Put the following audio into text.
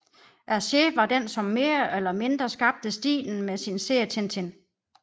Hergé var den som mere eller mindre skabte stilen med sin serie Tintin